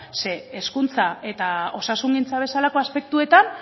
zeren hezkuntza eta osasungintza bezalako aspektuetan